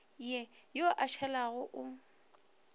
ye yo a šalago o